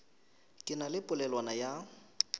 ke na le polelwana ya